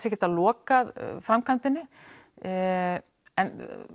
að geta lokað framkvæmdinni en